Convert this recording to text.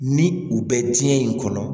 Ni u bɛ diɲɛ in kɔnɔ